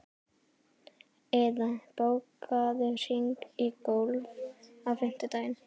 Iða, bókaðu hring í golf á fimmtudaginn.